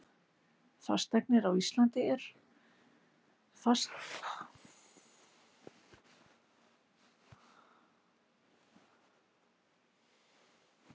Fasteignir á Íslandi álitlegur kostur